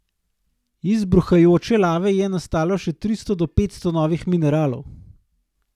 Iz bruhajoče lave je nastalo še tristo do petsto novih mineralov.